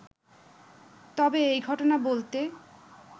তবে এই ঘটনা বলতে